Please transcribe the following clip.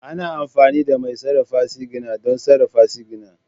Ana amfani da mai sarrafa sigina don sarrafa sigina